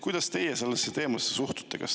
Kuidas teie sellesse teemasse suhtute?